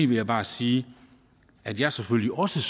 vil jeg bare sige at jeg selvfølgelig også